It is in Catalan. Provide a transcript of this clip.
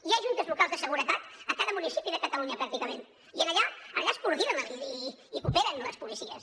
hi ha juntes locals de seguretat a cada municipi de catalunya pràcticament i allà es coordinen i cooperen les policies